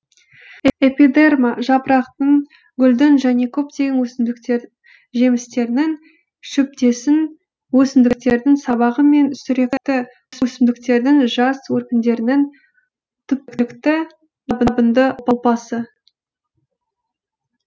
эпи дерма жапырақтың гүлдің және көптеген өсімдіктер жемістерінің шөптесін өсімдіктердің сабағы мен сүректі өсімдіктердің жас өркендерінің түпкілікті жабынды ұлпасы